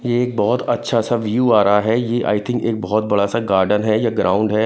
यह एक बहुत अच्छा सा व्यू आ रहा है यह आई थिंक एक बहुत बड़ा सा गार्डन है या ग्राउंड है।